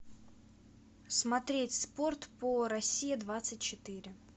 смотреть спорт по россия двадцать четыре